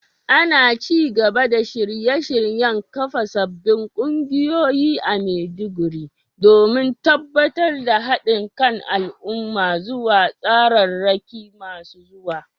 Ana ci gaba da shirye-shiryen kafa sabbin kungiyoyi a Maiduguri, domin tabbatar da hadin kan al’umma zuwa tsararraki masu zuwa.